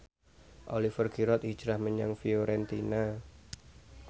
Oliver Giroud hijrah menyang Fiorentina